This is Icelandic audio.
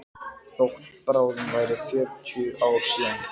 Þótt bráðum væru fjörutíu ár síðan